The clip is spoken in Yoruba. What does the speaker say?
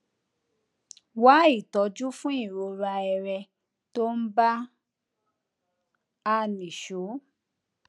wá ìtójú fún ìrora ẹrẹ tó ń bá a nìṣó